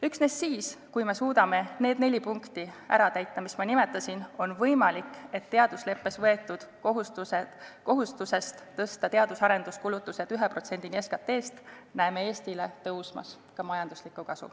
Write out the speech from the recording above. Üksnes siis, kui me suudame täita need neli punkti, mida ma nimetasin, on võimalik, et teadusleppes võetud kohustusest tõsta teadus- ja arenduskulutused 1%-ni SKT-st näeme Eestile tõusmas ka majanduslikku kasu.